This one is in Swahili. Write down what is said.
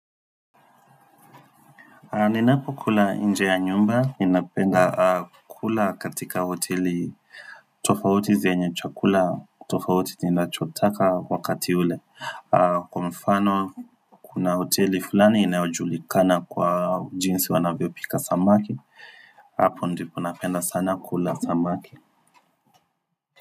Ninapo kula inje ya nyumba, inapenda kula katika hoteli tofauti zenye chakula, tofauti tinachotaka wakati ule. Kwa mfano kuna hoteli fulani inayojulikana kwa jinsi wanavyo pika samaki, hapo ndipo napenda sana kula samaki.